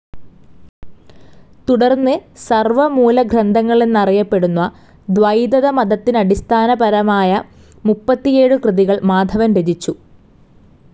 തുടർന്നു സർവമൂലഗ്രന്ഥങ്ങളെന്നറിയപ്പെടുന്ന ദ്വൈതതമതത്തിനടിസ്ഥാന പരമായമുപ്പത്തിയേഴു കൃതികൾ മാധവർ രചിച്ചു.